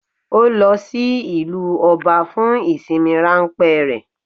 Ó lo sí ìlú Oba fun ìsinmi ránpé rè